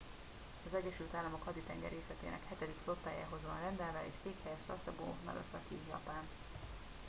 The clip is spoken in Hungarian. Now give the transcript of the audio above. az egyesült államok haditengerészetének hetedik flottájához van rendelve és székhelye sasebo nagasaki japán